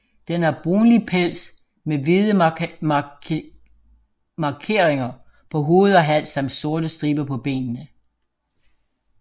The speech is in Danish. Den har brunlig pels med hvide markeringer på hoved og hals samt sorte striber på benene